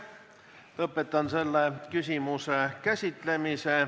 Lõpetan selle küsimuse käsitlemise.